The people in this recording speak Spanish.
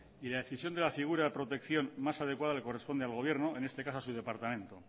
y la decisión de la figura de protección más adecuada le corresponde al gobierno en este caso a su departamento